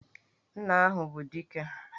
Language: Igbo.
Nna ahụ bụ Dike!